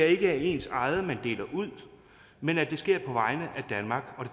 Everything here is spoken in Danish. ikke er af ens eget man deler ud men at det sker på vegne af danmark og